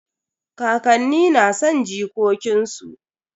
Kakanni na son jikokin su.